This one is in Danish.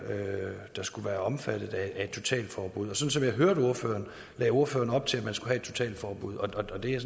der skulle være omfattet af et totalforbud og sådan som jeg hørte ordføreren lagde ordføreren op til at man skulle have et totalforbud og det er